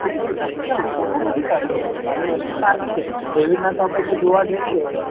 કરી સકાય ખોટું નથી તારી વસ્તુ તારી વસ્તુ સાચી છે એવી રીતના આપડે તો જોવા જઈએ.